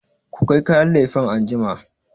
ku kai kayan lefen anjima!